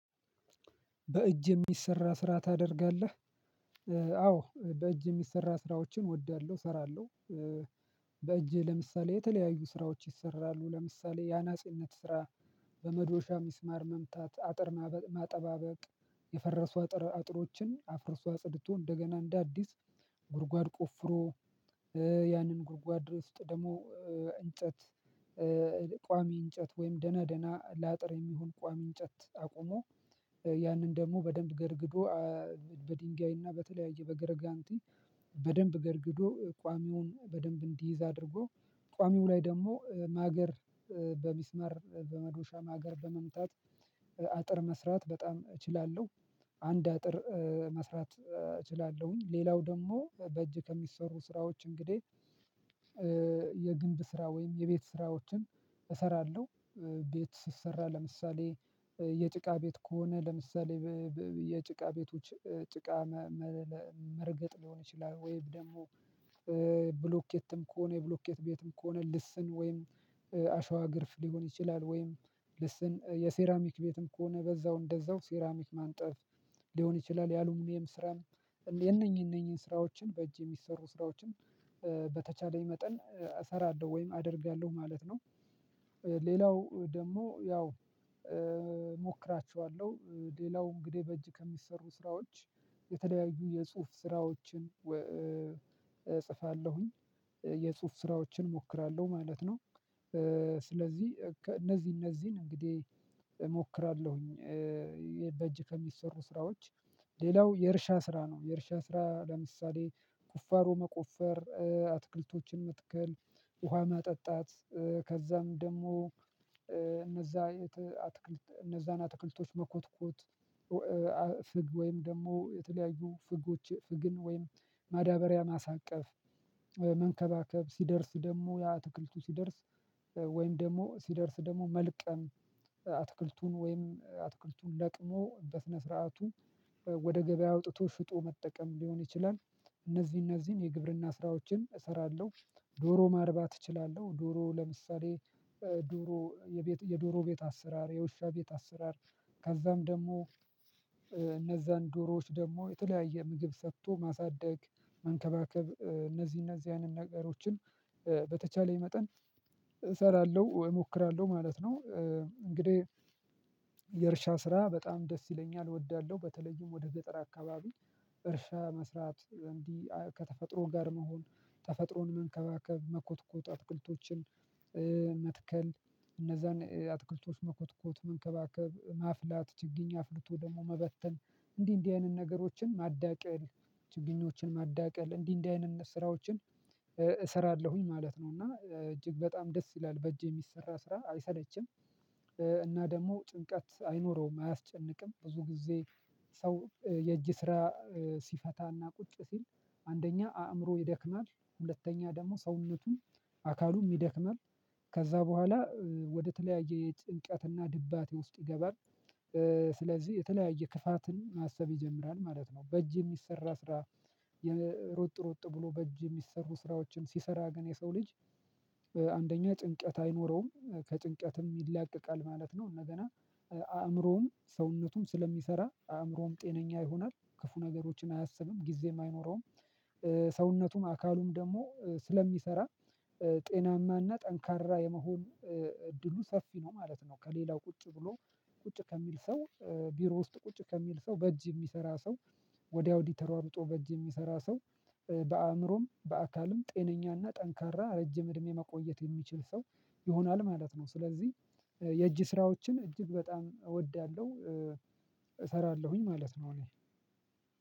በእጅ የሚሰራ ስራ ታደርጋለህ? አዎ በእጅ የሚሰራ ስራዎችን እወዳለሁ እሰራለሁ። በእጄ ለምሳሌ የተለያዩ ስራዎች ይሰራሉ ለምሳሌ ያናጺነት ስራ በመዶሻ ሚስማር መምታት አጥር ማጠባበቅ። የፈረሱ አጥር አጥሮችን አፍርሶ አጽድቶ እንደገና እንደ አዲስ ጉድጓድ ቆፍሮ። ያንን ጉድጓድ ድረስ ውስጥ ደግሞ እንጨት። ቋሚ እንጨት ወይም ደና ደና ላጥር የሚሆን ቋሚ እንጨት አቁሞ ያንን ደግሞ በደንብ ገርግዶ በድንጋይና በተለያየ በገረጋንቲ በደንብ ገረግዶ ቋሚውን በደንብ እንዲይዝ አድርጎ ቋሚው ላይ ደግሞ ማገር በሚስማር በመዶሻ ማገር በመምታት አጥር መስራት በጣም እችላለሁ። አንድ አጥር መስራት እችላለሁኝ ሌላው ደግሞ በእጅ ከሚሰሩ ስራዎች እንግዲህ የግንብ ስራ ወይም የቤት ስራዎችን እሰራለሁ። ቤት ሲሰራ ለምሳሌ የጭቃ ቤት ከሆነ ለምሳሌ የጭቃ ቤቶች ጭቃ መርገጥ ሊሆን ይችላል ወይም ደግሞ ብሎኬትም ከሆነ የብሎኬት ቤትም ከሆነ ልስን ወይም አሸዋ ግርፍ ሊሆን ይችላል ወይም ልስን የሴራሚክ ቤትም ከሆነ በዛው እንደዛው ሴራሚክ ማንጠፍ ሊሆን ይችላል የአሉሚንየም ስራም የነኚህ የነኚህ ስራዎችን በእጅ የሚሰሩ ስራዎችን በተቻለኝ መጠን እሰራለሁ ወይም አደርጋለሁ ማለት ነው። ሌላው ደግሞ ያው እሞክራቸዋለሁ ሌላው እንግዲህ በእጅ ከሚሰሩ ስራዎች የተለያዩ የጽሁፍ ስራዎችን እጽፋለሁኝ የጽሁፍ ስራዎችን እሞክራለሁ ማለት ነው። ስለዚህ እነዚህ እነዚህን እንግዲህ እሞክራለሁኝ በእጅ ከሚሰሩ ስራዎች ሌላው የእርሻ ስራ ነው። የእርሻ ስራ ለምሳሌ ቁፋሮ መቆፈር አትክልቶችን መትከል ውሃ ማጠጣት ከዛም ደግሞ እነዛ እነዛን አትክልቶች መኮትኮት ወይም ደግሞ የተለያዩ ፍጎች ፍግን ወይም ማዳበሪያ ማሳቀፍ ሲደርስ ደግሞ ያ አትክልቱ ሲደርስ ወይም ደግሞ ሲደርስ ደግሞ መልቀም አትክልቱን ወይም አትክልቱን ለቅሞ በስነ ስርዓቱ ወደ ገበያ አውጥቶ ሽጦ መጠቀም ሊሆን ይችላል። እነዚህ እነዚህን የግብርና ስራዎችን እሰራለሁ። ዶሮ ማርባት እችላለሁ ዶሮ ለምሳሌ ዱሮ የዶሮ ቤት አሰራር የውሻ ቤት አሰራር ከዛም ደግሞ ዶሮዎች ደግሞ የተለያየ ምግብ ሰጥቶ ማሳደግ መንከባከብ እነዚህ እነዚህ አይነት ነገሮችን በተቻለኝ መጠን እሰራለሁ እሞክራለሁ ማለት ነው እንግዲህ። የእርሻ ስራ በጣም ደስ ይለኛል እወዳለሁ በተለይም ወደ ገጠር አካባቢ እርሻ መስራት እንዲህ ከተፈጥሮ ጋር መሆን ተፈጥሮን መንከባከብ መኮትኮት አትክልቶችን መትከል እነዛን አትክልቶች መኮትኮት መንከባከብ ማፍላት ችግኝ አፍልቶ ደግሞ መበተን እንዲህ እንዲህ አይነት ነገሮችን ማዳቀል ችግኞችን ማዳቀል እንዲህ እንዲህ አይነት ስራዎችን እሰራለሁኝ ማለት ነው እና እጅግ በጣም ደስ ይላል በእጅ የሚሰራ ስራ አይሰለችም። እና ደግሞ ጭንቀት አይኖረውም አያስጨንቅም ብዙ ጊዜ ሰው የእጅ ስራ ሲፈታና ቁጭ ሲል አንደኛ አእምሮ ይደክማል ሁለተኛ ደግሞ ሰውነቱን አካሉም ይደክማል በኋላ ወደተለያየ የጭንቀትና ድባቴ ውስጥ ይገባል። ስለዚህ የተለያየ ክፋትን ማሰብ ይጀምራል ማለት ነው። በእጅ የሚሰራ ስራ የሮጥ ሮጥ ብሎ በእጅ የሚሰሩ ስራዎችን ሲሰራ ግን የሰው ልጅ አንደኛ ጭንቀት አይኖረውም ከጭንቀትም ይላቀቃል ማለት ነው። እንደገና አእምሮውን ሰውነቱን ስለሚሰራ አእምሮውን ጤነኛ ይሆናል ክፉ ነገሮችን አያሰብም ጊዜም አይኖረውም። ሰውነቱም አካሉም ደግሞ ስለሚሰራ ጤናማና ጠንካራ የመሆን እድሉ ሰፊ ነው ማለት ነው። ከሌላው ቁጭ ብሎ ቁጭ ከሚል ሰው ቢሮ ውስጥ ቁጭ ከሚል ሰው በእጅ የሚሰራ ሰው ወድያ ወዲ ተሯሩጦ በእጅ የሚሰራ ሰው በአእምሮም በአካልም ጤነኛና ጠንካራ ረጅም እድሜ መቆየት የሚችል ሰው ይሆናል ማለት ነው። ስለዚህ የእጅ ስራዎችን እጅግ በጣም እወዳለሁ። እሰራለሁኝ ማለት ነው። እኔ